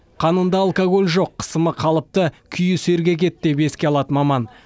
қанында алкоголь жоқ қысымы қалыпты күйі сергек еді деп еске алады маман